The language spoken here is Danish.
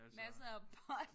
Masser af pot